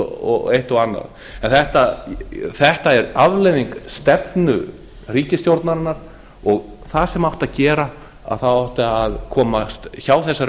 og eitt og annað en þetta er afleiðing stefnu ríkisstjórnarinnar og það sem átti að gera er að það átti að komast hjá þessari